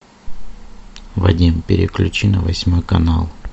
вадим переключи на восьмой канал